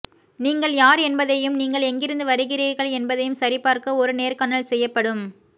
நீங்கள் யார் என்பதையும் நீங்கள் எங்கிருந்து வருகிறீர்கள் என்பதையும் சரிபார்க்க ஒரு நேர்காணல் செய்யப்படும்